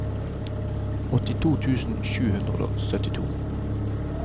åttito tusen sju hundre og syttito